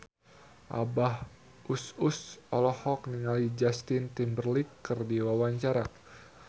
Abah Us Us olohok ningali Justin Timberlake keur diwawancara